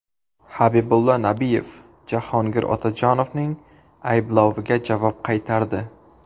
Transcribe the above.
Habibullo Nabiyev Jahongir Otajonovning aybloviga javob qaytardi .